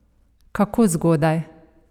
Kako zgodaj?